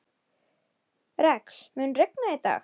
Rex, mun rigna í dag?